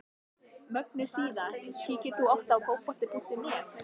Mögnuð síða Kíkir þú oft á Fótbolti.net?